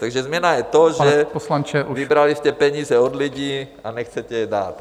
Takže změna je to, že... ... vybrali jste peníze od lidí a nechcete je dát.